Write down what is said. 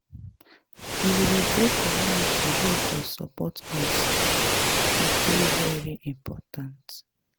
We We go join community wey go support us, e dey very important.